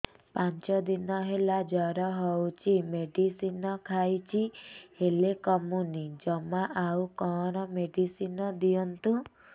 ପାଞ୍ଚ ଦିନ ହେଲା ଜର ହଉଛି ମେଡିସିନ ଖାଇଛି ହେଲେ କମୁନି ଜମା ଆଉ କଣ ମେଡ଼ିସିନ ଦିଅନ୍ତୁ